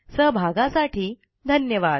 सहभागासाठी धन्यवाद